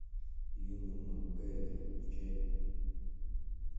юный макгайвер включай